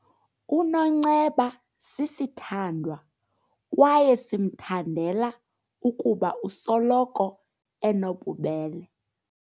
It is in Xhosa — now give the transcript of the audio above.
UNonceba sisithandwa kwaye simthandela ukuba usoloko enobubele.